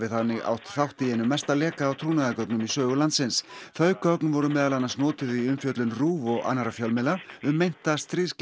þannig átt þátt í einum mesta leka á trúnaðargögnum í sögu landsins þau gögn voru meðal annars notuð í umfjöllun RÚV og annarra fjölmiðla um meinta stríðsglæpi